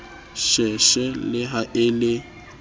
sheshe le ha e le